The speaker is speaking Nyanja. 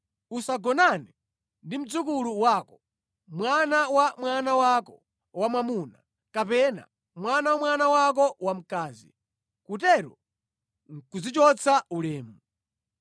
“ ‘Usagonane ndi mdzukulu wako: mwana wa mwana wako wamwamuna kapena mwana wa mwana wako wamkazi. Kutero nʼkudzichotsa ulemu.